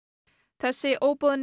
þessi